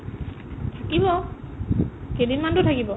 কিয় কেইদিনমানতো থাকিব